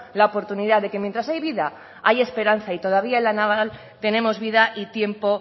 la oportunidad de que mientras hay vida hay esperanza y todavía la naval tenemos vida y tiempo